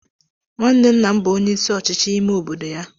nwanne nna m bu onye isi ochichi ime obodo ya.